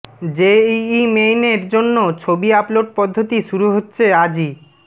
JEE মেইনের জন্য ছবি আপলোড পদ্ধতি শুরু হচ্ছে আজই